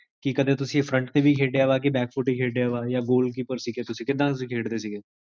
ਕੀ ਕਦੇ ਤੁਸੀਂ ਫ੍ਰੰਟ ਤੇ ਵੀ ਖੇਡਿਆ ਵਾ, ਬਕ੍ਫੁਟ ਹੀ ਖੇਡਿਆ ਵਾ ਯਾ ਗੋਲਕੀਪਰ ਸੀਗੇ ਤੁਸੀਂ? ਕਿੱਦਾਂ ਤੁਸੀਂ ਖੇਡਦੇ ਸੀਗੇ